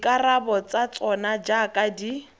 dikarabo tsa tsona jaaka di